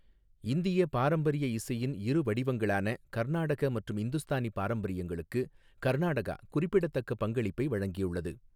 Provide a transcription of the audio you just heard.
இந்திய பாரம்பரிய இசையின் இரு வடிவங்களான கர்நாடக மற்றும் இந்துஸ்தானி பாரம்பரியங்களுக்கு கர்நாடகா குறிப்பிடத்தக்க பங்களிப்பை வழங்கியுள்ளது.